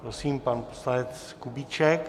Prosím, pan poslanec Kubíček.